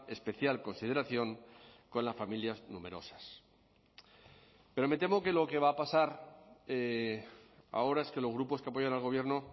especial consideración con las familias numerosas pero me temo que lo que va a pasar ahora es que los grupos que apoyan al gobierno